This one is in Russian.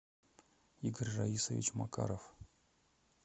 игорь раисович макаров